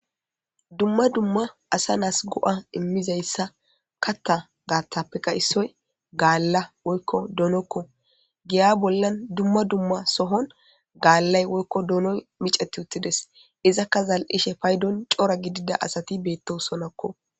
Dumma dumma asa naasi go'a immiza issa katta gaattappeka issoy gaalla woykko doonokko .Giya bollan dumma dumma sohon gaallay woykko doonoy miceti utti dees. Izakka zal'ishe paydon cora gidida asati beettosonakko.